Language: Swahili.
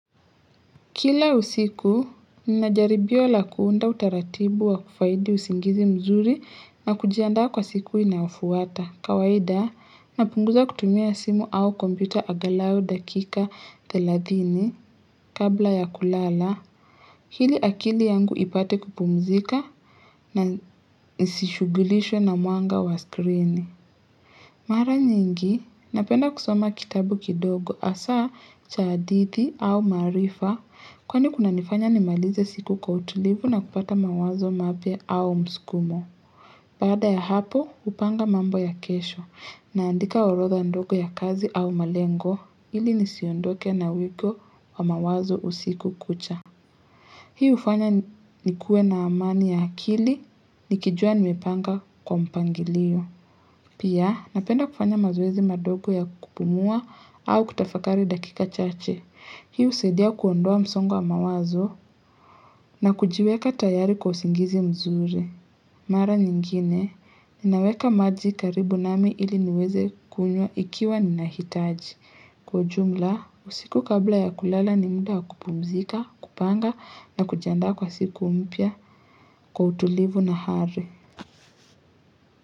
Kila usiku, Nina jaribio la kuunda utaratibu wa kufaidi usingizi mzuri na kujiandaa kwa siku inayofuata. Kawaida, napunguza kutumia simu au kompyuta angalau dakika 30 kabla ya kulala. Ili akili yangu ipate kupumzika na nisishughulishwe na mwanga wa skrini. Mara nyingi, napenda kusoma kitabu kidogo hasaa cha hadithi au maarifa Kwani kunanifanya nimalize siku kwa utulivu na kupata mawazo mapya au mskumo Baada ya hapo, hupanga mambo ya kesho naandika orodha ndogo ya kazi au malengo ili nisiondoke na wiko wa mawazo usiku kucha Hii hufanya nikuwe na amani ya akili, nikijua nimepanga kwa mpangilio Pia, napenda kufanya mazoezi madogo ya kupumua au kutafakari dakika chache. Hii husaidia kuondoa msongo wa mawazo na kujiweka tayari kwa usingizi mzuri. Mara nyingine, ninaweka maji karibu nami ili niweze kunywa ikiwa ninahitaji. Kwa jumla, usiku kabla ya kulala ni muda wa kupumzika, kupanga na kujiandaa kwa siku mpya, kwa utulivu na hari.